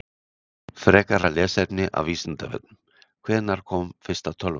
Frekara lesefni af Vísindavefnum: Hvenær kom fyrsta tölvan?